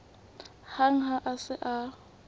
hang ha a se a